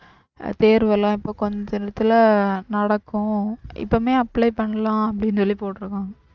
தேர்வெல்லாம் இப்ப கொஞ்சம் நேரத்துல நடக்கும் இப்பவுமே apply பண்ணலாம் அப்டினு சொல்லி போட்டுருக்காங்க